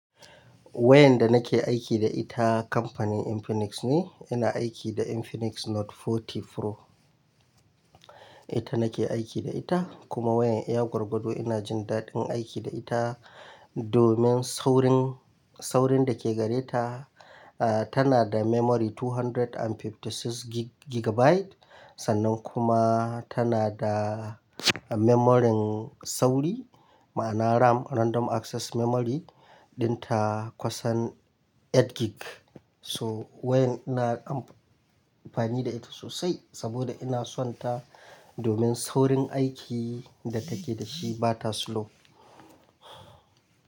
Wayyar da nake aiki da ita kamfanin Infinix ne. Ina aiki da Infinix Note 40 Pro. Ita nake aiki da ita kuma wayan iya gwargwado ina jin daɗin aiki da ita domin saurin, saurin da ke gare ta, ah tana da memory 256 gigabyte sannan kuma tana da memory sauri ma'ana RAM Random Access Memory ɗinta kusan 8 gig. So wayan ina amfani da ita sosai saboda ina son ta domin saurin aiki da take da shi bata slow.